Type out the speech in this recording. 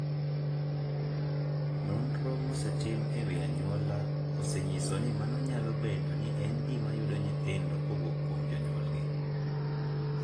Nonro mosetim e wi anyuola osenyiso ni mano nyalo bedo ni en gima yudo nyithindo kowuok kuom jonyuolgi.